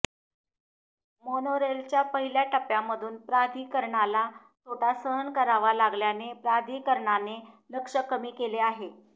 मोनोरेलच्या पहिल्या टप्प्यामधून प्राधिकरणाला तोटा सहन करावा लागल्याने प्राधिकरणाने लक्ष्य कमी केले आहे